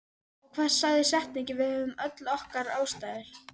Og hvað sagði setningin Við höfðum öll okkar ástæður?